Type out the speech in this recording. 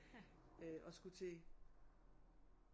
Øh og skulle til